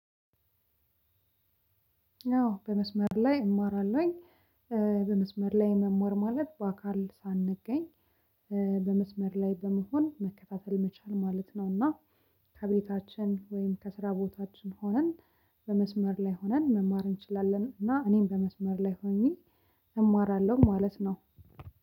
ነው በመስመር ላይ እማራለሁኝ። በመስመር ላይ መማር ማለት በአካል ሳንገኝ። በመስመር ላይ በመሆን መከታተል መቻል ማለት ነው። እና ከቤታችን ወይም ከስራ ቦታችን ሆነን በመስመር ላይ ሆነን መማር እንችላለን። እና እኔም በመስመር ላይ ሆኜ እማራለሁ ማለት ነው።